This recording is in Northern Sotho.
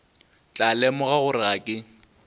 tla lemoga gore ga ke